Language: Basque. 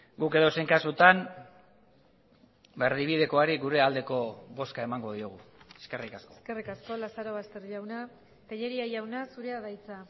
guk edozein kasutan erdibidekoari gure aldeko bozka emango diogu eskerrik asko eskerrik asko lazarobaster jauna tellería jauna zurea da hitza